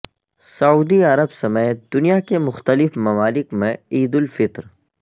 سعودی عرب سمیت دنیا کے مختلف ممالک میں عید الفطر